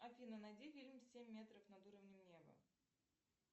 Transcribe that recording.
афина найди фильм семь метров над уровнем неба